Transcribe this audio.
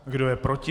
Kdo je proti?